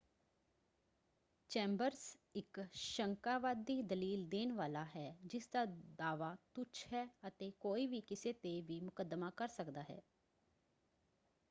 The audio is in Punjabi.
ਚੈਂਬਰਜ਼ ਇੱਕ ਸ਼ੰਕਾਵਾਦੀ ਦਲੀਲ ਦੇਣ ਵਾਲਾ ਹੈ ਜਿਸਦਾ ਦਾਅਵਾ ਤੁੱਛ ਹੈ ਅਤੇ ਕੋਈ ਵੀ ਕਿਸੇ 'ਤੇ ਵੀ ਮੁੱਕਦਮਾ ਕਰ ਸਕਦਾ ਹੈ।